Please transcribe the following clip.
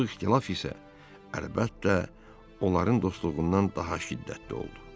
Bu ixtilaf isə əlbəttə onların dostluğundan daha şiddətli oldu.